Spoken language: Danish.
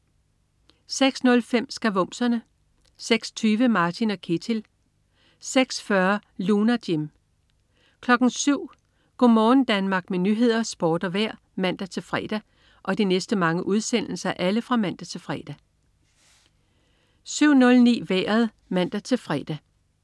06.05 Skavumserne 06.20 Martin & Ketil 06.40 Lunar Jim 07.00 Go' morgen Danmark med nyheder, sport og vejr (man-fre) 07.00 Nyhederne og Sporten (man-fre) 07.09 Vejret (man-fre)